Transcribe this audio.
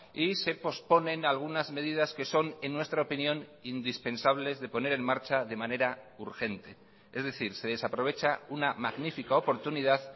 y se posponen algunas medidas que son en nuestra opinión indispensables de poner en marcha de manera urgente es decir se desaprovecha una magnífica oportunidad